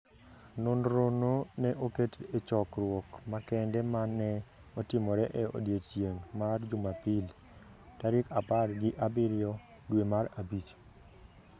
Nonrono ne oket e chokruok makende ma ne otimore e odiechieng’ mar Jumapil, tarik apar gi abiriyo dwe mar abich.